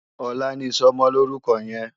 Òlà ni isòmòlórúkò yèn